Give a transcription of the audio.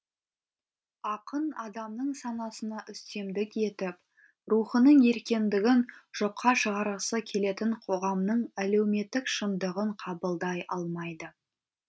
ақын адамның санасына үстемдік етіп рухының еркіндігін жоққа шығарғысы келетін қоғамның әлеуметтік шындығын қабылдай алмайды